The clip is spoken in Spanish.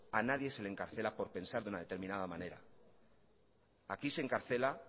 a nadie se le encarcela por pensar de una determinada manera aquí se encarcela